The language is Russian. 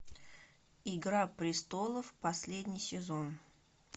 игра престолов последний сезон